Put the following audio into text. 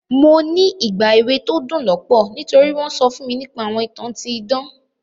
Mo ní ìgbà èwe to dún lọ́pọ̀ nítori won so fún mi nipa àwọn ìtàn ti idan.